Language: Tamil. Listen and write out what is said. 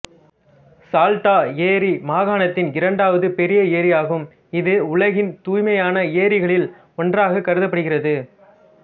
சால்டா ஏரி மாகாணத்தின் இரண்டாவது பெரிய ஏரியாகும் இது உலகின் தூய்மையான ஏரிகளில் ஒன்றாக கருதப்படுகிறது